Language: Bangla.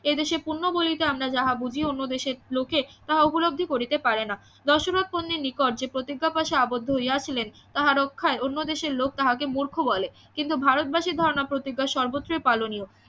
এদেশের পুন্য বলিতে আমরা যা বুঝি অন্য দেশের লোকে তাহা উপলব্ধি করিতে পারে না নিকট যে প্রতিজ্ঞা পশে আবদ্ধ হইয়াছিলেন তাহা রক্ষায় অন্য দেশের লোক তাহাকে মূর্খ বলে কিন্তু ভারতবাসীর ধারণা প্রতিজ্ঞা সর্বত্রই পালনীয়